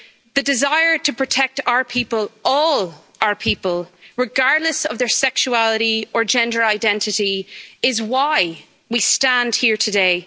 The desire to protect our people all our people, regardless of their sexuality or gender identity is why we stand here today.